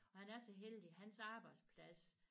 Og han er så heldig hans arbejdsplads